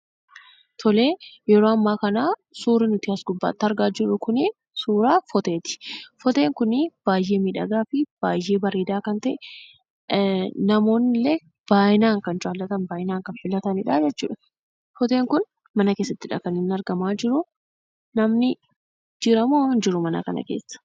Yeroo ammaa kanaa suurri as gubbaatti argaa jirru kunii suuraa foteeti. Foteen kuni baay'ee miidhagaafi baay'ee bareedaa kan ta'e : namoonni illee baay'inaan kan jaallataniifi filatanidha. Foteen kun mana keessatti kan inni argamaa jiru. Namni jiramoo hinjiru mana kana keessa?